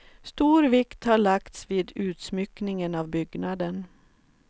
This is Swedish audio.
Stor vikt har lagts vid utsmyckningen av byggnaden.